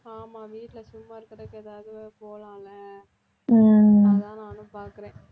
ஆமா வீட்டில சும்மா இருக்கறதுக்கு ஏதாவது போகலாம்ல அதான் நானும் பார்க்கறேன்